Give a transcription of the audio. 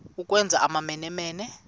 ukwenza amamene mene